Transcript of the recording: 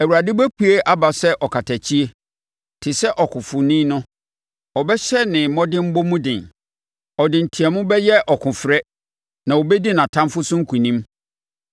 Awurade bɛpue aba sɛ ɔkatakyie, te sɛ ɔkofoni no, ɔbɛhyɛ ne mmɔdemmɔ mu den; ɔde nteam bɛyɛ ɔkofrɛ na ɔbɛdi nʼatamfoɔ so nkonim.